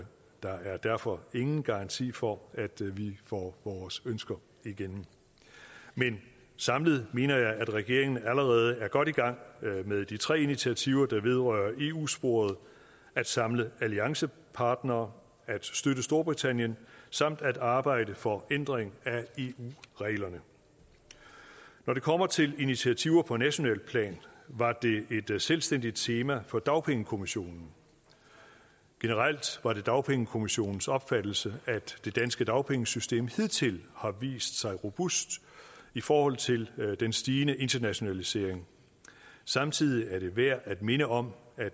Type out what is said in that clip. der er derfor ingen garanti for at vi får vores ønsker igennem men samlet mener jeg at regeringen allerede er godt i gang med de tre initiativer der vedrører eu sporet at samle alliancepartnere at støtte storbritannien samt at arbejde for ændring af eu reglerne når det kommer til initiativer på nationalt plan var det et selvstændigt tema for dagpengekommissionen generelt var det dagpengekommissionens opfattelse at det danske dagpengesystem hidtil har vist sig robust i forhold til den stigende internationalisering samtidig er det værd at minde om at